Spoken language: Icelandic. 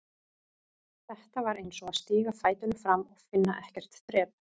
Þetta var eins og að stíga fætinum fram og finna ekkert þrep.